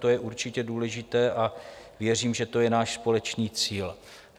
To je určitě důležité a věřím, že to je náš společný cíl.